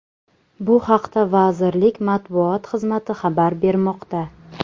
Bu haqda vazirlik matbuot xizmati xabar bermoqda .